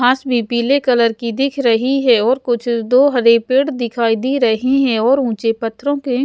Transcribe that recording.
घास भी पीले कलर की दिख रही है और कुछ दो हरे पेड़ दिखाई दे रहे हैं और ऊंचे पत्थरों के --